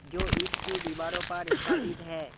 जो ईंट के दीवारों पर स्थापित है।